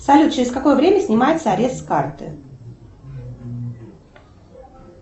салют через какое время снимается арест с карты